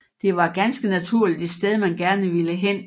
Det var ganske naturligt et sted man gerne ville hen